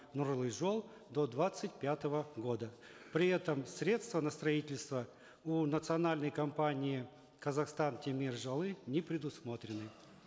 нурлы жол до двадцать пятого года при этом средства на строительство у национальной компании казахстан темир жолы не предусмотрены